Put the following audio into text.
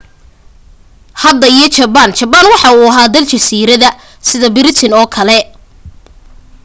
hadda iyo jabaan jabaan waxaa uu ahaa dal jasiirada sida biritan oo kale